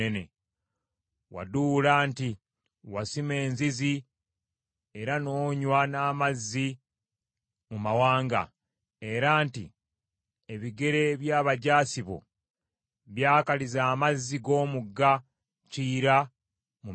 Waduula nti wasima enzizi era n’onywa n’amazzi mu mawanga era nti ebigere by’abajaasi bo byakaliza amazzi g’omugga Kiyira mu Misiri.’